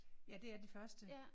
Ja det er de første